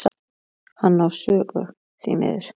Hann á sögu, því miður.